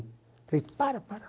Falei, para, para.